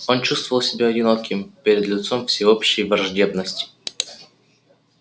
он чувствовал себя одиноким перед лицом всеобщей враждебности